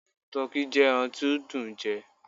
Tọki jẹ ẹran ti o dùn ún jẹ